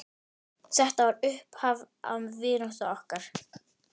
Þetta var upphaf vináttu okkar.